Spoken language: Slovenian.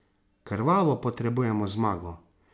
Krvavo potrebujemo zmago.